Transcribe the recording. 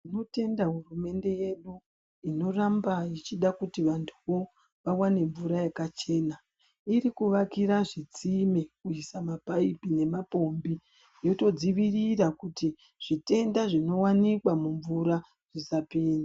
Tinotenda hurumende yedu, inoramba ichida kuti vantu wo vawane mvura yakachena. Irikuvakira zvitsime kuyisa mapayipi nemapompi yotodzovirira kuti zvitenda zvinowanikwa mumvura zvisapinda.